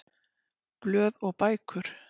Blöð og bækur